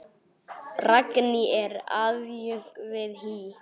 Ragný er aðjunkt við HÍ.